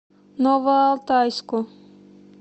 новоалтайску